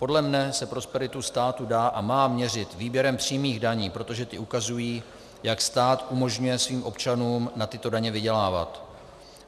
Podle mě se prosperita státu dá a má měřit výběrem přímých daní, protože ty ukazují, jak stát umožňuje svým občanům na tyto daně vydělávat.